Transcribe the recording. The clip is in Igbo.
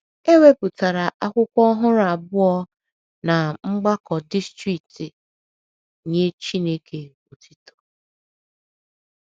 E wepụtara akwụkwọ ọhụrụ abụọ ná Mgbakọ Distrikti “ Nye Chineke Otuto. Chineke Otuto. ”